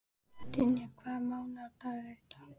Dynja, hvaða mánaðardagur er í dag?